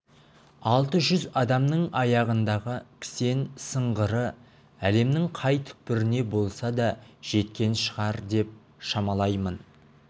алты жүз адамның аяғындағы кісен сыңғыры әлемнің қай түкпіріне болса да жеткен шығар деп шамалаймын